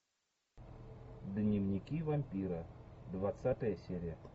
дневники вампира двадцатая серия